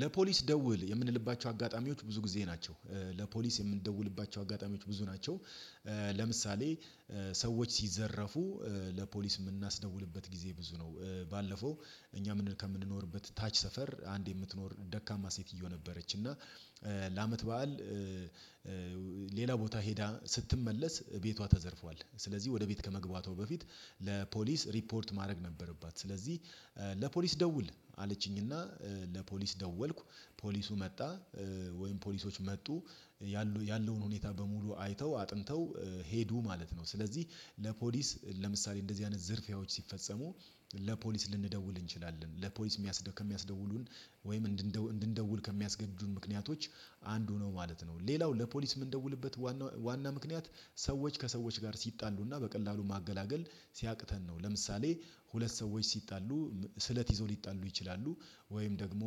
ለፖሊስ ደውል የምንልባቸው አጋጣሚዎች ብዙ ጊዜ ናቸው ለፖሊስ የምንደውልባቸው አጋጣሚዎች ብዙ ናቸው። ሰዎች ሲዘረፉ ለፖሊስ የምናስደውልበት ጊዜ ብዙ ነው። ባለፈው እኛ ምንድነው? ከምንኖርበት ታች ሰፈር አንድ የምትኖር ደካማ ሴትዮ ነበረች እና። ለአመት በዓል ሌላ ቦታ ሄዳ ስትመለስ ቤቷ ተዘርፏል። ስለዚህ ወደ ቤት ከመግባቷ በፊት ለፖሊስ ሪፖርት ማድረግ ነበረባት። ስለዚህ ለፖሊስ ደውል አለችኝና ለፖሊስ ደወልኩ ፖሊሱ መጣ ወይም ፖሊሶች መጡ። ያለውን ሁኔታ በሙሉ አይተው አጥንተው ሄዱ ማለት ነው። ስለዚህ ለፖሊስ ለምሳሌ እንደዚህ አይነት ዝርፊያዎች ሲፈጸሙ ለፖሊስ ልንደውል እንችላለን። ለፖሊስ ከሚያስደውሉን ወይም እንድንደውል ከሚያስገዱን ምክንያቶች አንዱ ነው ማለት ነው። ሌላው ለፖሊስ የምንደውልበት ዋና ምክንያት ሰዎች ከሰዎች ጋር ሲጣሉና በቀላሉ ማገላገል ሲያቅተን ነው። ለምሳሌ ሁለት ሰዎች ሲጣሉ ስለት ይዘው ሊጣሉ ይችላሉ። ወይም ደግሞ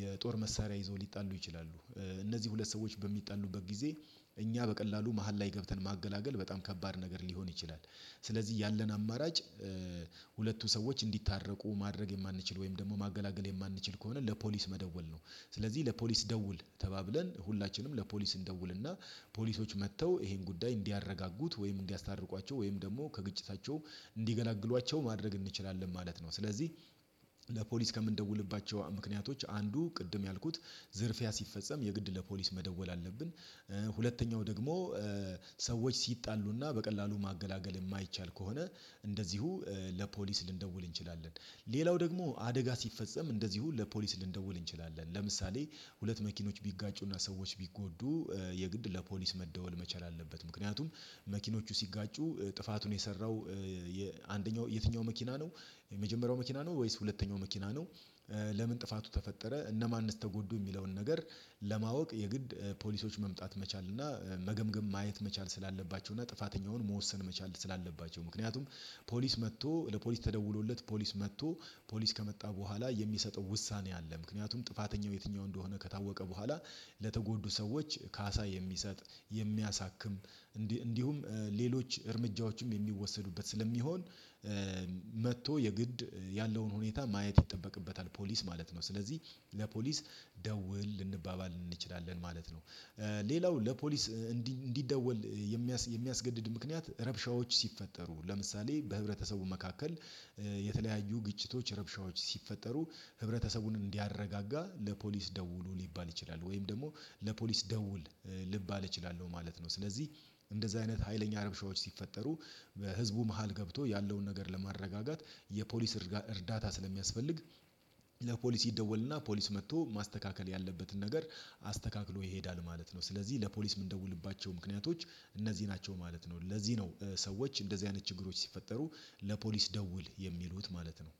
የጦር መሳሪያ ይዘው ሊጣሉ ይችላሉ። እነዚህ ሁለት ሰዎች በሚጣሉበት ጊዜ እኛ በቀላሉ መሃል ላይ ገብተን ማገላገል በጣም ከባድ ነገር ሊሆን ይችላል። ስለዚህ ያለን አማራጭ ሁለቱ ሰዎች እንዲታረቁ ማድረግ የማንችል ወይም ደግሞ ማገላገል የማንችል ከሆነ ለፖሊስ መደወል ነው። ስለዚህ ለፖሊስ ደውል ተባብለን ሁላችንም ለፖሊስ እንደውልና ፖሊሶች መጥተው ይሄን ጉዳይ እንዲያረጋጉት ወይም እንዲያስታርቋቸው ወይም ደግሞ ከግጭታቸው እንዲገላግሏቸው ማድረግ እንችላለን ማለት ነው። ስለዚህ ለፖሊስ ከምንደውልባቸው ምክንያቶች አንዱ ቅድም ያልኩት ዝርፊያ ሲፈጸም የግድ ለፖሊስ መደወል አለብን። ሁለተኛው ደግሞ ሰዎች ሲጣሉና በቀላሉ ማገላገል የማይቻል ከሆነ እንደዚሁ ለፖሊስ ልንደውል እንችላለን። ሌላው ደግሞ አደጋ ሲፈጸም እንደዚሁ ለፖሊስ ልንደውል እንችላለን። ለምሳሌ ሁለት መኪኖች ቢጋጩና ሰዎች ቢጎዱ የግድ ለፖሊስ መደወል መቻል አለበት። ምክንያቱም መኪኖቹ ሲጋጩ ጥፋቱን የሰራው አንደኛው የትኛው መኪና ነው? የመጀመሪያው መኪና ነው ወይስ ሁለተኛው መኪና ነው? ለምን ጥፋቱ ተፈጠረ እነማን እንደት ተጎዱ የሚለውን ነገር። ለማወቅ የግድ ፖሊሶች መምጣት መቻል እና መገምገም ማየት መቻል ስላለባቸው እና ጥፋተኛውን መወሰን መቻል ስላለባቸው። ምክንያቱም ፖሊስ መጥቶ ለፖሊስ ተደውሎለት ፖሊስ መጥቶ ፖሊስ ከመጣ በኋላ የሚሰጠው ውሳኔ አለ። ምክንያቱም ጥፋተኛው የትኛው እንደሆነ ከታወቀ በኋላ ለተጎዱ ሰዎች ካሳ የሚሰጥ የሚያሳክም እንዲሁም ሌሎች እርምጃዎችም የሚወሰዱበት ስለሚሆን። መጥቶ የግድ ያለውን ሁኔታ ማየት ይጠበቅበታል ፖሊስ ማለት ነው። ስለዚህ ለፖሊስ ደውል ልንባባል እንችላለን ማለት ነው። ሌላው ለፖሊስ እንዲደወል የሚያስገድድ ምክንያት ረብሻዎች ሲፈጠሩ ለምሳሌ በህብረተሰቡ መካከል የተለያዩ ግጭቶች ረብሻዎች ሲፈጠሩ ህብረተሰቡን እንዲያረጋጋ ለፖሊስ ደውሉ ሊባል ይችላል። ወይም ደግሞ ለፖሊስ ደውል ልባል እችላለሁ ማለት ነው። ስለዚህ እንደዚህ አይነት ሀይለኛ ረብሻዎች ሲፈጠሩ በህዝቡ መሃል ገብቶ ያለውን ነገር ለማረጋጋት የፖሊስ እርዳታ ስለሚያስፈልግ ለፖሊስ ይደወልና ፖሊስ መጥቶ ማስተካከል ያለበትን ነገር አስተካክሎ ይሄዳል ማለት ነው። ስለዚህ ለፖሊስ የምንደውልባቸው ምክንያቶች እነዚህ ናቸው ማለት ነው። ለዚህ ነው ሰዎች እንደዚህ አይነት ችግሮች ሲፈጠሩ ለፖሊስ ደውል የሚሉት ማለት ነው።